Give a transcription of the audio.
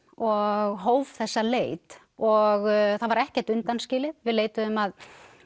og hóf þessa leit og það var ekkert undanskilið við leituðum að